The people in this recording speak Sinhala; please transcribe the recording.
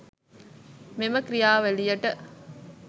මේම ක්‍රියාවලියට